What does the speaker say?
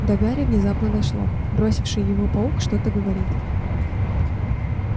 до гарри внезапно дошло бросивший его паук что-то говорит